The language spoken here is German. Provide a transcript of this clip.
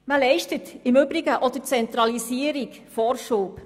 Man leistet im Übrigen auch der Zentralisierung Vorschub.